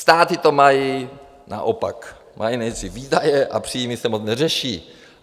Státy to mají naopak - mají nejdřív výdaje a příjmy se moc neřeší.